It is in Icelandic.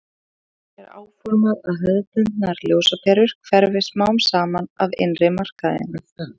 þannig er áformað að hefðbundnar ljósaperur hverfi smám saman af innri markaðinum